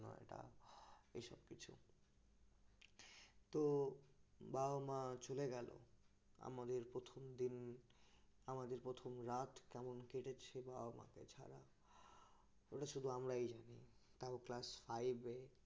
তো বাবা মা চলে গেল আমাদের প্রথম দিন আমাদের প্রথম রাত কেমন কেটেছে বাবা মাকে ছাড়া ওটা শুধু আমরাই জানি তাও class five এ